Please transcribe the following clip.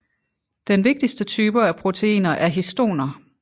Den vigtigste type af proteiner er histoner